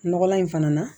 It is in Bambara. Nɔgɔlan in fana na